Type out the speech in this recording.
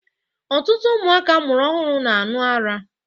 Ọtụtụ ụmụaka amụrụ ọhụrụ na-aṅụ ara.